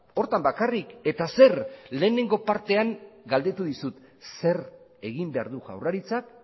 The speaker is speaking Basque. horretan bakarrik eta zer lehenengo partean galdetu dizut zer egin behar du jaurlaritzak